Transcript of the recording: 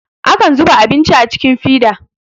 akan zuba abinci a cikin fida